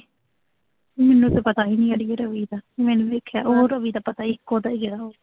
ਮੈਨੂੰ ਤਾਂ ਪਤਾ ਈ ਨੀਂ ਇਹਦੇ ਬਾਰੇ ਕੁਸ਼, ਮੈਂ ਉਹਨੂੰ ਦੇਖਿਆ, ਉਹਦਾ ਤਾਂ ਪਤਾ ਇਕੋ ਤਾਂ ਹੈਗੇ ਆ ਉਹੋ।